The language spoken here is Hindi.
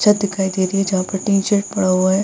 छत दिखाई दे रही है जहाँ पर टी-शर्ट पड़ा हुआ है |